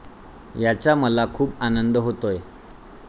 याचा मला खूप आनंद होतोय.